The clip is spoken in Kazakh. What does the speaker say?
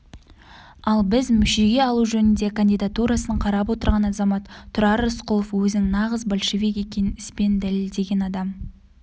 ал біз мүшеге алу жөнінде кандидатурасын қарап отырған азамат тұрар рысқұлов өзінің нағыз большевик екенін іспен дәлелдеген адам